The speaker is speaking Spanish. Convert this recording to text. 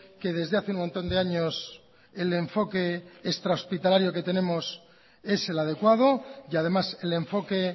que desde hace un montón de años el enfoque extrahospitalario que tenemos es el adecuado y además el enfoque